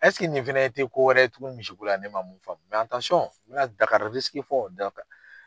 nin fɛnɛ ti ko wɛrɛ tugun misiko la, ne ma mun faamu n mi na Dakari fɔ Dakari